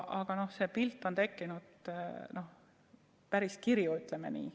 Aga pilt on tekkinud, see on päris kirju, ütleme nii.